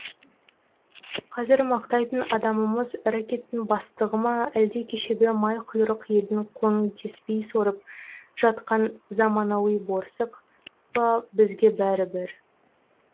қазір мақтайтын адамымыз рэкеттің бастығы ма әлде кешегі майқұйрық елдің қоңын теспей сорып жатқан заманауи борсық па бізге бәрібір